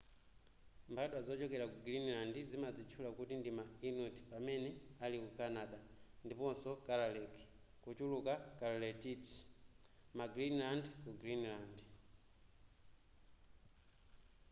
mbadwa zochokera ku greenland zimadzitchula kuti ndima inuit pamene aliku canada ndiponso kalaalleq kuchuluka kalaallit ma greenlander ku greenland